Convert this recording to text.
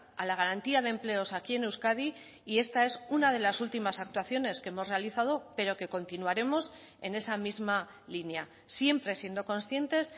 a la garantía de empleos aquí en euskadi y esta es una de las últimas actuaciones que hemos realizado pero que continuaremos en esa misma línea siempre siendo conscientes